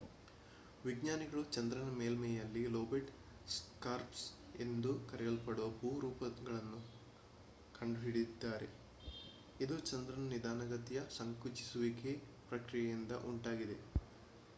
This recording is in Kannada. ವಿಜ್ಞಾನಿಗಳು ಚಂದ್ರನ ಮೇಲ್ಮೈಯಲ್ಲಿ ಲೋಬೇಟ್ ಸ್ಕಾರ್ಪ್ಸ್ ಎಂದು ಕರೆಯಲ್ಪಡುವ ಭೂ ರೂಪಗಳನ್ನು ಕಂಡುಹಿಡಿದಿದ್ದಾರೆ ಇದು ಚಂದ್ರನ ನಿಧಾನಗತಿಯ ಸಂಕುಚಿಸುವಿಕೆ ಪ್ರಕ್ರಿಯೆಯಿಂದ ಉಂಟಾಗಿದೆ